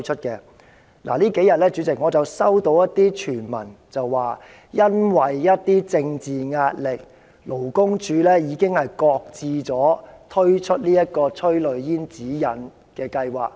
主席，這數天我收到一些傳聞，指因為一些政治壓力，勞工處已經擱置推出催淚煙指引的計劃。